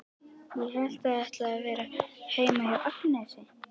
Ég hélt að þið ætluðuð að vera heima hjá Agnesi.